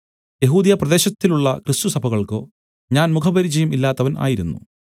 യെഹൂദ്യപ്രദേശത്തിലുള്ള ക്രിസ്തുസഭകൾക്കോ ഞാൻ മുഖപരിചയം ഇല്ലാത്തവൻ ആയിരുന്നു